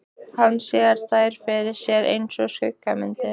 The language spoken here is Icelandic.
Hann sér þær fyrir sér einsog skuggamyndir.